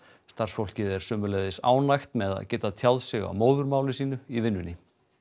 starfsfólkið er sömuleiðis ánægt með að geta tjáð sig á móðurmáli sínu í vinnunni